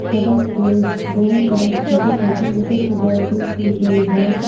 सड़क के दोनों तरफ छोटे छोटे इटों से बाउंड्री की गई है।